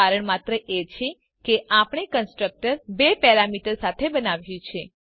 કારણ માત્ર એ છે કે આપણે કન્સ્ટ્રક્ટર બે પેરામીટર સાથે બનાવ્યું છે